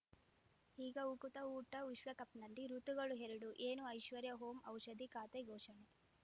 ಈಗ ಉಕುತ ಊಟ ವಿಶ್ವಕಪ್‌ನಲ್ಲಿ ಋತುಗಳು ಎರಡು ಏನು ಐಶ್ವರ್ಯಾ ಓಂ ಔಷಧಿ ಖಾತೆ ಘೋಷಣೆ